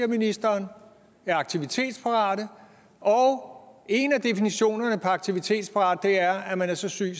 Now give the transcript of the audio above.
ministeren er aktivitetsparate og en af definitionerne på aktivitetsparat er at man er så syg